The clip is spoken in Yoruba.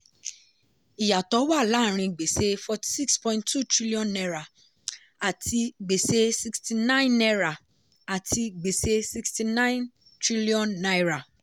ìyàtọ̀ wa láàárin gbèsè n46.2 trillion àti gbèsè n69 àti gbèsè n69 trillion.